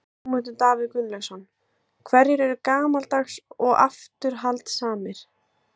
Sigmundur Davíð Gunnlaugsson: Hverjir eru gamaldags og afturhaldssamir?